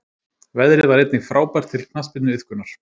Veðrið var einnig frábært til knattspyrnuiðkunar.